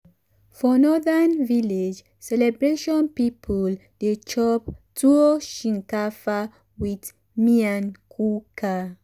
for northern village celebration people dey chop tuwo shinkafa with miyan kuka.